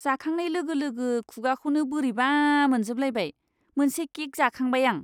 जाखांनाय लोगो लोगो खुगाखौनो बोरैबा मोनजोबलायनाय मोनसे केक जाखांबाय आं!